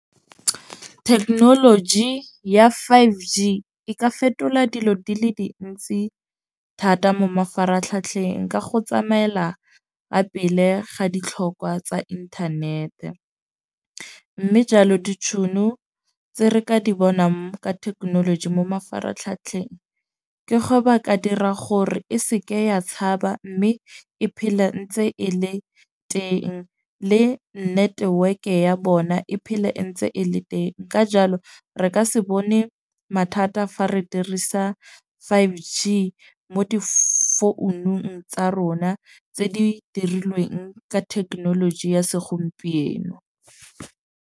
Thekenoloji ya five G e ka fetola dilo di le dintsi thata mo mafaratlhatlheng ka go tsamaela ka pele ga ditlhokwa tsa inthanete. Mme jalo ditšhono tse re ka di bonang ka thekenoloji mo mafaratlhatlheng, ke go ba ka dira gore e seke ya tshaba. Mme e phele ntse e le teng le network ya bona e phele e ntse e le teng. Ka jalo re ka se bone mathata fa re dirisa five G mo difounung tsa rona tse di dirilweng ka thekenoloji ya segompieno.